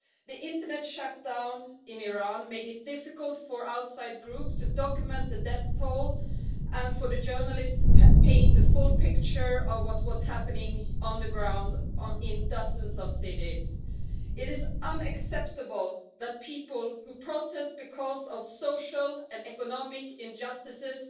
The internet shutdown in Iran made it difficult for outside groups to document the death toll and for journalists to paint the full picture of what was happening on the ground in dozens of cities. It is unacceptable that people who protest because of social and economic injustices